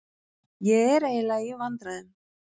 Ég er eiginlega í vandræðum.